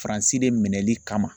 Faransi de minɛli kama.